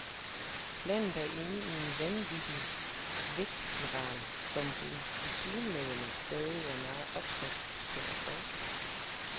Landet er inde i en vanvittig vækstspiral, som det tilsyneladende stadig er meget opsat på at fortsætte.